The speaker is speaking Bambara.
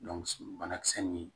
banakisɛ nin